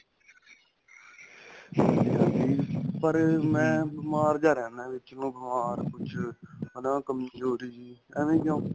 ਹਾਂਜੀ ਹਾਂਜੀ ਪਰ ਮੈਂ ਬੀਮਾਰ ਜਾਂ ਰਹਿੰਦਾ ਹਾਂ ਵਿੱਚ ਨੂੰ ਬੀਮਾਰ ਕੁੱਛ ਹਨਾ ਕਮਜੋਰੀ ਐਵੇ ਕਿਉ